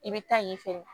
I bɛ taa yen fɛnɛ